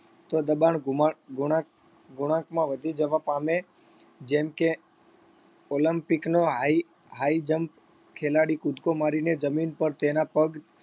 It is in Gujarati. તો દબાણ ગુમા ગુણાંક ગુણાંકમાં વધી જવા પામે જેમ કે olympic નો high high jump ખેલાડી કૂદકો મારીને જમીન પાર તેના પગ